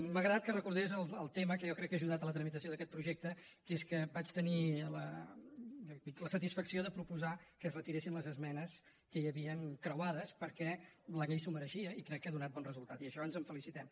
m’ha agradat que recordés el tema que jo crec que ha ajudat a la tramitació d’aquest projecte que és que vaig tenir la satisfacció de proposar que es retiressin les esmenes que hi havien creuades perquè la llei s’ho mereixia i crec que ha donat bon resultat i d’això ens en felicitem